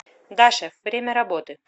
да шеф время работы